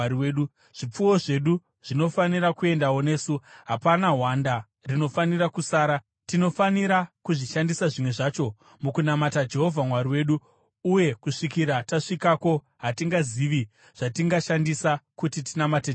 Zvipfuwo zvedu zvinofanira kuendawo nesu; hapana hwanda rinofanira kusara. Tinofanira kuzvishandisa zvimwe zvacho mukunamata Jehovha Mwari wedu, uye kusvikira tasvikako hatingazivi zvatingashandisa kuti tinamate Jehovha.”